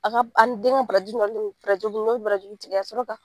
A ka ani den ka barajuru barajuru barajuru tigɛ ka sɔrɔ ka